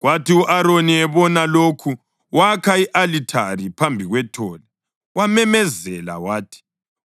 Kwathi u-Aroni ebona lokhu wakha i-alithari phambi kwethole wamemezela wathi,